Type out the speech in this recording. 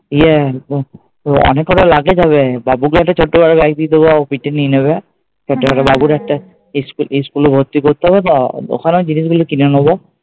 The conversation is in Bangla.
ইয়ে তো অনেককটা luggage হবে বাবুকে একটা ছোট্ট ভাবে ব্যাগ দিয়ে দেবো বাবু পিঠে নিয়ে নেবে। ইস্কুলে স্কুলে ভর্তি করতে হবে বা ওখানেও জিনিস গুলো কিনে নেবো